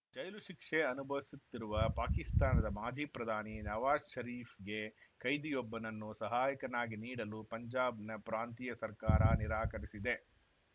ಜೈಲು ಶಿಕ್ಷೆ ಅನುಭವಿಸುತ್ತಿರುವ ಪಾಕಿಸ್ತಾನದ ಮಾಜಿ ಪ್ರಧಾನಿ ನವಾಜ್‌ ಷರೀಫ್‌ಗೆ ಕೈದಿಯೊಬ್ಬನನ್ನು ಸಹಾಯಕನನ್ನಾಗಿ ನೀಡಲು ಪಂಜಾಬ್‌ನ ಪ್ರಾಂತೀಯ ಸರ್ಕಾರ ನಿರಾಕರಿಸಿದೆ